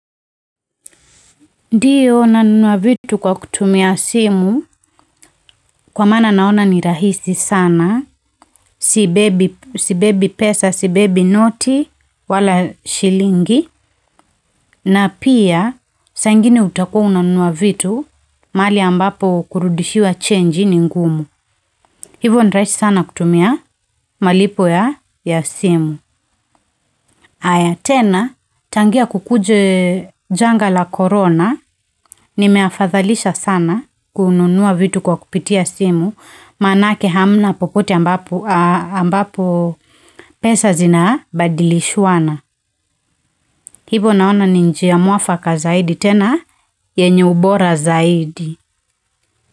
Ndiyo nanunua vitu kwa kutumia simu kwa maana naona ni rahisi sana, sibebi pesa, sibebi noti wala shilingi na pia saa ingine utakua unanunua vitu mahali ambapo kurudishiwa chenji ni ngumu. Hivyo ni rahisi sana kutumia malipo ya simu. Aya, tena tangia kukuje janga la korona, nimeafadhalisha sana kununua vitu kwa kupitia simu, manake hamna popote ambapo pesa zina badilishwana. Hivo naona ni njia mwafaka zaidi tena, yenye ubora zaidi.